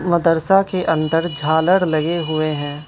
मदरसा के अंदर झालर लगे हुए हैं।